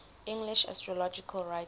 english astrological writers